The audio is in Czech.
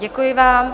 Děkuji vám.